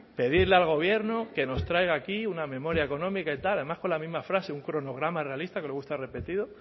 pedirle al gobierno que nos traiga aquí una memoria económica y tal además con la misma frase un cronograma realista que luego está repetido